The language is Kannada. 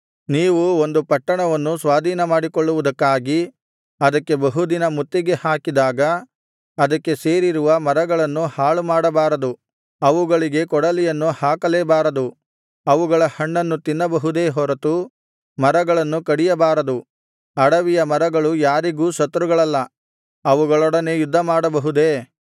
ನೀವು ಒಂದು ಪಟ್ಟಣವನ್ನು ಸ್ವಾಧೀನಮಾಡಿಕೊಳ್ಳುವುದಕ್ಕಾಗಿ ಅದಕ್ಕೆ ಬಹುದಿನ ಮುತ್ತಿಗೆಹಾಕಿದಾಗ ಅದಕ್ಕೆ ಸೇರಿರುವ ಮರಗಳನ್ನು ಹಾಳುಮಾಡಬಾರದು ಅವುಗಳಿಗೆ ಕೊಡಲಿಯನ್ನು ಹಾಕಲೇಬಾರದು ಅವುಗಳ ಹಣ್ಣನ್ನು ತಿನ್ನಬಹುದೇ ಹೊರತು ಮರಗಳನ್ನು ಕಡಿಯಬಾರದು ಅಡವಿಯ ಮರಗಳು ಯಾರಿಗೂ ಶತ್ರುಗಳಲ್ಲ ಅವುಗಳೊಡನೆ ಯುದ್ಧಮಾಡಬಹುದೇ